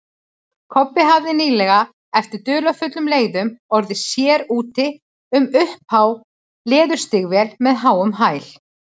Kobbi hafði nýlega, eftir dularfullum leiðum, orðið sér úti um upphá leðurstígvél með háum hæl.